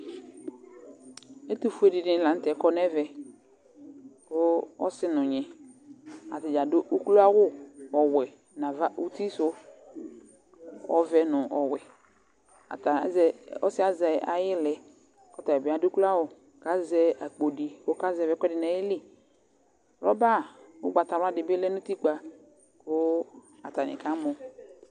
Ɛkʋfue dɩnɩ la nʋ tɛ kɔ nʋ ɛvɛ Kʋ ɔsɩ nʋ ɔnyɩ, atadza adʋ ukloawʋ ɔwɛ nʋ ava uti sʋ, ɔvɛ nʋ ɔwɛ Ɔsɩyɛ azɛ ayilɛ kʋ ɔta bɩ adu ukloawʋ, kʋ azɛ akpo di kʋ ɔkazɛvɩ ɛkʋɛdɩ nʋ ayili Wrɔba ugbatawla di bɩ lɛ nʋ utikpǝ, kʋ atani akamɔ